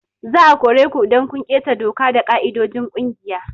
Za a kore ku idan kun keta doka da ƙa'idojin kungiya.